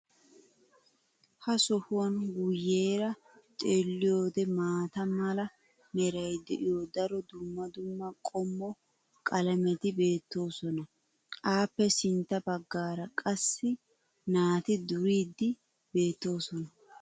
ha sohuwan guyeera xeeliyoode maata mala meray de'iyo daro dumma dumma qommo qalametti beetoosona. a ppe sintta bagaara qassi naati duriidi beetoosona.